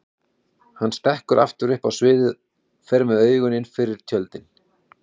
Hann stekkur aftur upp á sviðið, fer með augun innfyrir tjöldin.